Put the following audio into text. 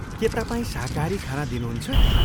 के तपाईँ शाकाहारी खाना दिनुहुन्छ?